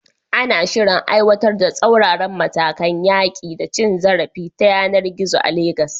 Ana shirin aiwatar da tsauraran matakan yaƙi da cin zarafi ta yanar gizo a Legas.